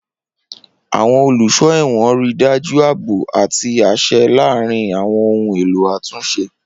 Awọn oluso ẹwọn rii daju aabo ati aṣẹ laarin awọn ohun elo atunṣe.